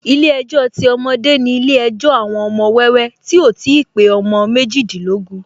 Ilé ejò ti ọmọdé ni ilé ejò àwọn ọmọ wẹ́wẹ́ tí ò ti pé ọmọ méjìdínlógún